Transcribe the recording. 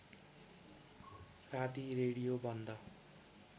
राती रेडियो बन्द